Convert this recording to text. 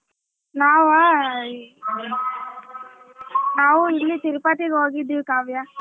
ನಾವಾ ಈ ನಾವು ಇಲ್ಲಿ ತಿರುಪತಿಗ ಹೋಗಿದ್ವಿ ಕಾವ್ಯ.